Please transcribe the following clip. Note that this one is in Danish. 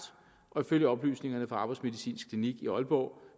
og ifølge oplysningerne fra arbejdsmedicinsk klinik i aalborg